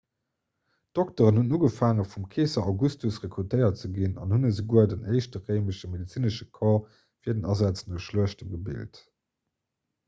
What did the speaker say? d'dokteren hunn ugefaange vum keeser augustus rekrutéiert ze ginn an hunn esouguer den éischte réimesche medezinesche corps fir den asaz no schluechte gebilt